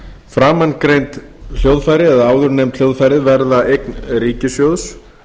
framangreind hljóðfæri eða áðurnefnd hljóðfæri verða eign ríkissjóðs